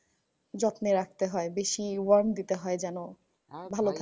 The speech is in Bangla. যত্নে রাখতে হয়। বেশি warm দিতে হয় যেন ভালো থাকে।